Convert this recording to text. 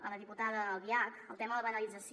a la diputada albiach el tema de la banalització